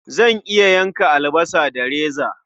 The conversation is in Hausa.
Zan iya yanka albasa da reza.